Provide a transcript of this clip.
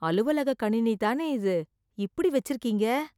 அலுவலக கணினி தானே இது, இப்படி வச்சிருக்கீங்க.